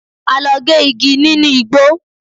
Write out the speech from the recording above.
A lọ gé igi nínú igbó.